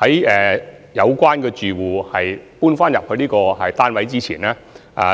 在有關住戶遷回單位前，